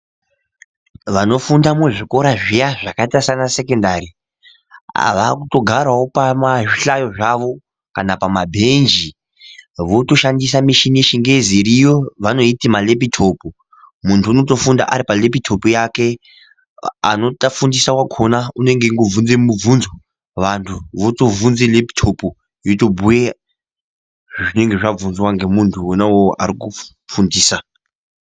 Vanofunda muzvikora zviya zvakaita sana sekendari vakutogarawo pazvihlaro zvavo ,kana pamabenji votoshandisa mishini yechingezi iriyo yavanoti malepitopu ,muntu unotofunda aripa lepitopu yake ,anotofundisa wakona une ngeongo bvunza mibvunzo vanhu votobvunze lepitopu yotobuye zvinenge zvabvunzwa ngemuntu wona iwowo arikufundisa.